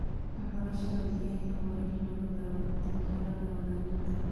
Waxbarashada deegaanka waa in lagu daro tababarada hogaaminta.